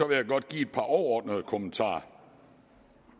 vil jeg godt give et par overordnede kommentarer